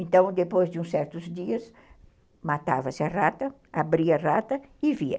Então, depois de uns certos dias, matava-se a rata, abria a rata e via.